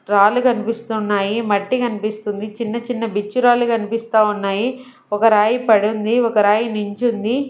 రాళ్ళు కనిపిస్తున్నాయి మట్టి కనిపిస్తుంది చిన్న చిన్న బిచ్చురాళ్ళు కనిపిస్తా ఉన్నాయి ఒక రాయి పడి ఉంది ఒక రాయి నుంచి ఉంది.